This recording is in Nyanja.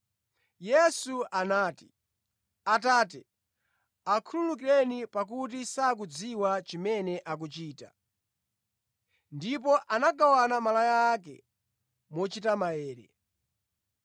Yesu anati, “Atate, akhululukireni, pakuti sakudziwa chimene akuchita.” Ndipo anagawana malaya ake mochita maere.